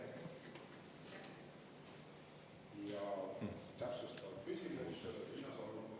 Täpsustav küsimus, Riina Solman, palun!